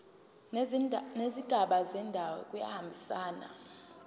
nezigaba zendaba kuyahambisana